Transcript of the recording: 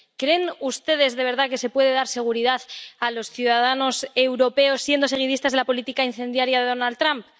¿Creen ustedes de verdad que se puede dar seguridad a los ciudadanos europeos siendo seguidistas de la política incendiaria de Donald Trump?